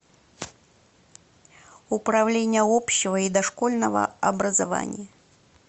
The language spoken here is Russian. управление общего и дошкольного образования